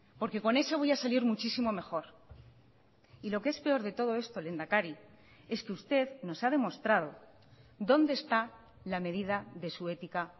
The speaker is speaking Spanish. porque con ese voy a salir muchísimo mejor y lo que es peor de todo esto lehendakari es que usted nos ha demostrado dónde está la medida de su ética